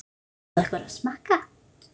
Má bjóða ykkur að smakka?